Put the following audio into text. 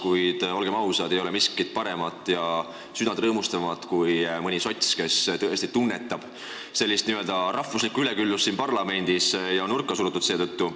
Kuid olgem ausad, ei ole miskit paremat ja südant rõõmustavamat kui mõni sots, kes tõesti tunnetab n-ö rahvuslikku üleküllust siin parlamendis ja on seetõttu nurka surutud.